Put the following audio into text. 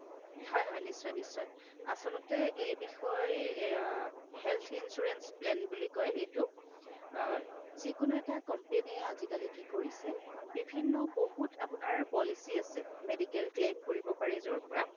হয় হয় নিশ্চয় নিশ্চয় আচলতে এই বিষয় অই ই health insurance plan বুলি কই এইটোক অ যিকোনো এটা company এ আজিকালি কি কৰিছে বিভিন্ন বহুত আপোনাৰ policy আছে medical claim কৰিব পাৰে য'ৰ পৰা